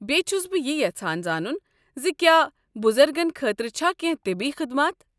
بیٚیہِ چھس بہٕ یہِ یژھان زانُن ز کیٛاہ بُزرگن خٲطرٕ چھا کینہہ طبی خدمات؟